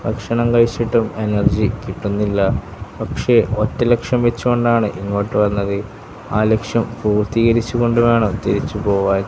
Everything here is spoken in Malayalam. ഭക്ഷണം കഴിച്ചിട്ടും എനർജി കിട്ടുന്നില്ല പക്ഷേ ഒറ്റ ലക്ഷ്യം വെച്ചു കൊണ്ടാണ് ഇങ്ങോട്ട് വന്നത് ആ ലക്ഷ്യം പൂർത്തീകരിച്ചു കൊണ്ടു വേണം തിരിച്ചു പോകാൻ.